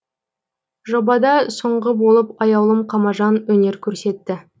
жобада соңғы болып аяулым қамажан өнер көрсетті